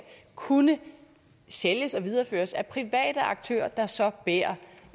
kunne sælges og videreføres af private aktører der så bærer